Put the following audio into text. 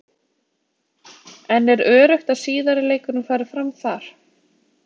En er öruggt að síðari leikurinn fari fram þar?